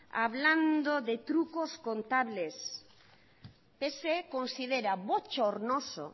hablando de trucos contables que se considera bochornoso